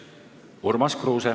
Urmas Kruuse.